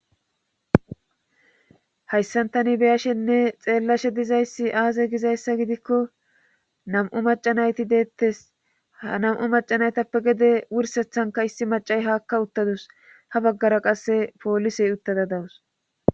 hayssantani beyashenne xeellashe dizayssi aaze gizayssa gidikko nam7u macanayti deettes hnam7u macanaytappe gede wursethanka issi macay haakka uttadus ha baggara qasse poolisey uttada dawus